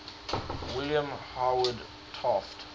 william howard taft